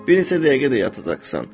Bir neçə dəqiqə də yatacaqsan.